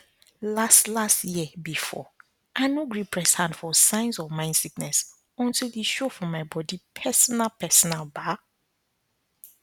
last last year before i no gree press hand for signs of mind sickness until e show for my body personalpersonal ba